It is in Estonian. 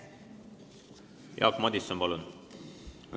Jaak Madison, palun!